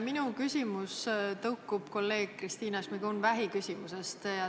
Minu küsimus tõukub kolleeg Kristina Šmigun-Vähi küsimusest.